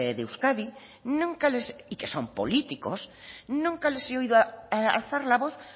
de euskadi nunca les y que son políticos nunca les he oído alzar la voz